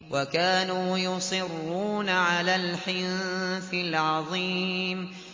وَكَانُوا يُصِرُّونَ عَلَى الْحِنثِ الْعَظِيمِ